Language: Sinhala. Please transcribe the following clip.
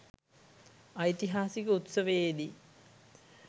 ඓතිහාසික උත්සවයේදී